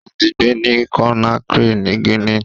Ó ti ń gbé ní Conakry ni Guinea.